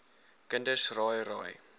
kinders raai raai